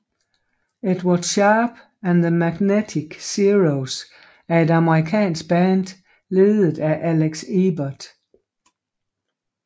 Edward Sharpe and The Magnetic Zeros er et amerikansk band ledet af Alex Ebert